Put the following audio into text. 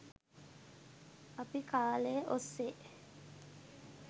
අපි කාලය ඔස්සේ